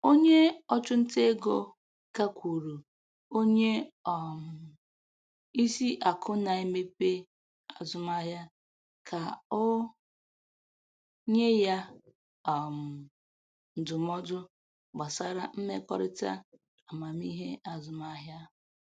Onye ọchụnta ego gakwuru onye um isi akụ na-emepe azụmaahịa ka o nye ya um ndụmọdụ gbasara mmekọrịta amamihe azụmahịa.